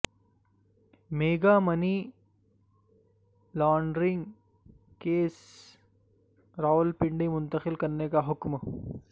mega money laundering case Rawalpindi منتقل کرنے کا حکم